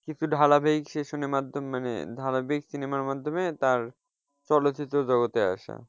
কিছু ধারাবাহিক session মাধ্যমে মানে ধারাবাহিক cinema র মাধ্যমে তার চলচ্চিত্র জগতে আসা।